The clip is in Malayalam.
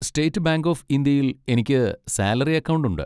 സ്റ്റേറ്റ് ബാങ്ക് ഓഫ് ഇന്ത്യയിൽ എനിക്ക് സാലറി അക്കൗണ്ട് ഉണ്ട്.